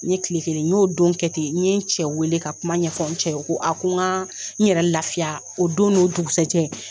N ye tile kelen n y'o don kɛ ten n ye n cɛ wele ka kuma ɲɛfɔ n cɛ ye o ko n ka n yɛrɛ lafiya o don n'o dugusajɛ